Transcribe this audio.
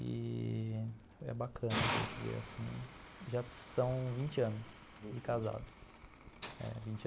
E é bacana a gente ver, assim, já são vinte anos de casados.